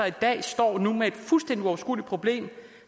i dag står med et fuldstændig uoverskueligt problem